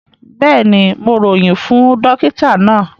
Bẹ́ẹ̀ni, Mo royin fún dòkìtà na.